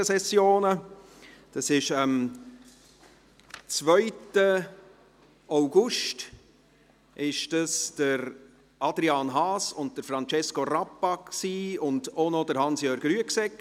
Dies waren am 2. August Adrian Haas und Francesco Rappa und auch noch Hans Jörg Rüegsegger;